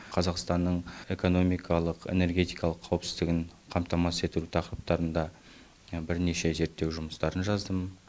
қазақстанның экономикалық энергетикалық қауіпсіздігін қамтамасыз ету тақырыптарында бірнеше зерттеу жұмыстарын жаздым